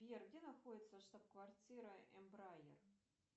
сбер где находится штаб квартира эмбрайер